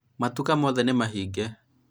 matuka mothe nĩ mahinge